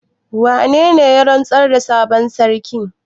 Wane ne ya rantsar da sabon sarkin?